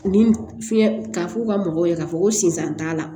Ni fiɲɛ k'a f'u ka mɔgɔw ye k'a fɔ ko sinsan t'a la